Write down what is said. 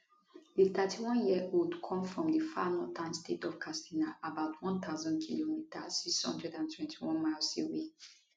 di 31yearold come from di far northern state of katsina about 1000km 621 miles away